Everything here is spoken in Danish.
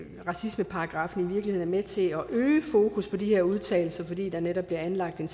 racismeparagraffen i virkeligheden er med til at øge fokus på de her udtalelser fordi der netop bliver anlagt en